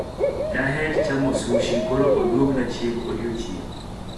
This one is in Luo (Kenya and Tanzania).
daher chamo sushi koro oluongna chiemb odiechieng